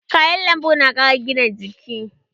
Kayan lambu na ƙara gina jiki.